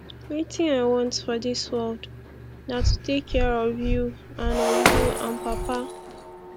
wetin i want for dis world na to take care of you and of you and papa